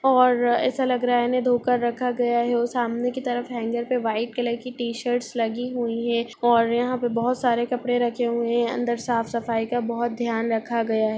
और ऐसा लग रहा है इन्हें धोकर रखा गया है और सामने की तरफ हेंगर में व्हाइट कलर की टी-शर्ट्स लगी हुई है और यहाँ पे बोहोत सारे कपड़े रखे हुए है अंदर साफ़ -सफाई का बोहोत ध्यान रखा गया हैं।